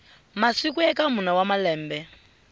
masiku eka mune wa malembe